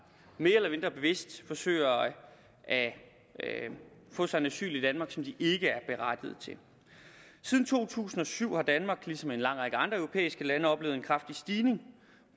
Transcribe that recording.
mere eller mindre bevidst forsøger at få et asyl i danmark som de ikke er berettiget til siden to tusind og syv har danmark ligesom en lang række andre europæiske lande oplevet en kraftig stigning